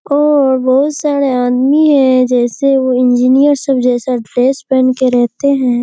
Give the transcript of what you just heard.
और बहुत सारे आदमी है जैसे वो इंजीनियर सब जैसा ड्रेस पहन के रहते है|